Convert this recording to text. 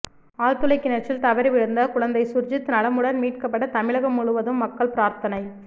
ஆழ்துளை கிணற்றில் தவறி விழுந்த குழந்தை சுர்ஜித் நலமுடன் மீட்கப்பட தமிழகம் முழுவதும் மக்கள் பிரார்த்தனை